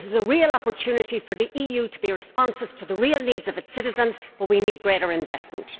This is a real opportunity for the EU to be responsive to the real needs of its citizens, but we need greater investment.